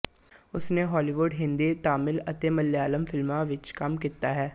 ਉਸ ਨੇ ਹਾਲੀਵੁਡ ਹਿੰਦੀ ਤਮਿਲ ਅਤੇ ਮਲਿਆਲਮ ਫ਼ਿਲਮਾਂ ਵਿੱਚ ਕੰਮ ਕੀਤਾ ਹੈ